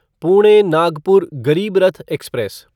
Pune Nagpur Garib Rath express